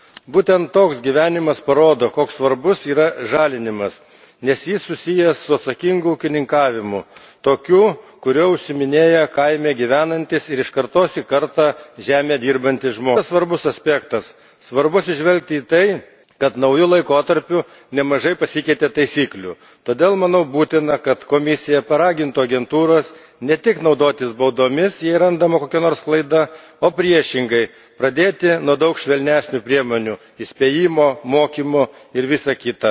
Būtent toks gyvenimas parodo, koks svarbus yra žalinimas, nes jis susijęs su atsakingu ūkininkavimu tokiu, kuriuo užsiiminėja kaime gyvenantys ir iš kartos į kartą žemę dirbantys žmonės. Kitas svarbus aspektas svarbu atsižvelgti į tai, kad nauju laikotarpiu nemažai pasikeitė taisyklių, todėl manau būtina, kad Komisija paragintų agentūras ne tik naudotis baudomis, jei randama kokia nors klaida, o, priešingai, pradėti nuo daug švelnesnių priemonių įspėjimo, mokymo ir visa kita.